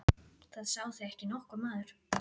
Það sá þig ekki nokkur maður!